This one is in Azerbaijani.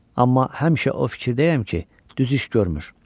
Amma həmişə o fikirdəyəm ki, düz iş görmür.